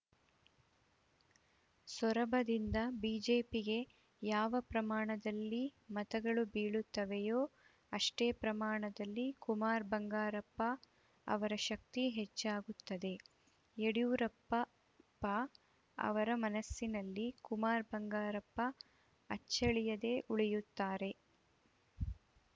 ಸೊರಬದಿಂದ ಬಿಜೆಪಿಗೆ ಯಾವ ಪ್ರಮಾಣದಲ್ಲಿ ಮತಗಳು ಬೀಳುತ್ತವೆಯೋ ಅಷ್ಟೇ ಪ್ರಮಾಣದಲ್ಲಿ ಕುಮಾರ್‌ ಬಂಗಾರಪ್ಪ ಅವರ ಶಕ್ತಿ ಹೆಚ್ಚಾಗುತ್ತದೆ ಯಡಿಯೂರಪ್ಪ ಪ ಅವರ ಮನಸ್ಸಿನಲ್ಲಿ ಕುಮಾರ್‌ ಬಂಗಾರಪ್ಪ ಅಚ್ಚಳಿಯದೇ ಉಳಿಯುತ್ತಾರೆ